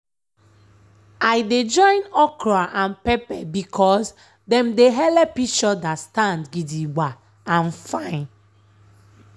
i dey join okra and pepper because dem dey helep each other stand gidigba and fine.